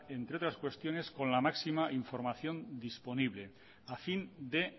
entre otras cuestiones con la máxima información disponible a fin de